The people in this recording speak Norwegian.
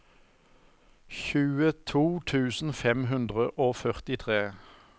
tjueto tusen fem hundre og førtitre